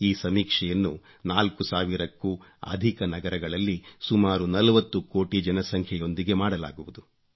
ಈ ಸಮೀಕ್ಷೆಯನ್ನು 4 ಸಾವಿರಕ್ಕೂ ಅಧಿಕ ನಗರಗಳಲ್ಲಿ ಸುಮಾರು 40 ಕೋಟಿ ಜನಸಂಖ್ಯೆಯೊಂದಿಗೆ ಮಾಡಲಾಗುವುದು